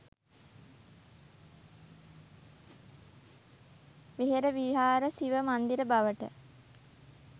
වෙහෙර විහාර සිව මන්දිර බවට